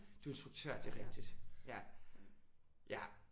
Du er instruktør. Det er rigtigt. Ja